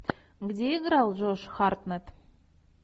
где играл джош хартнетт